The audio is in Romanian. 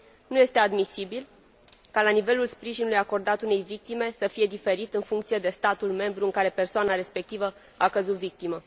Nu este admisibil ca nivelul sprijinului acordat unei victime să fie diferit, în funcție de statul membru în care persoana respectivă a căzut victimă.